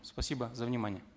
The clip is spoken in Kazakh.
спасибо за внимание